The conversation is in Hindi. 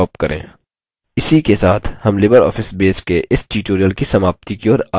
इसी के साथ हम libreoffice base के इस tutorial की समाप्ति की ओर आ गये हैं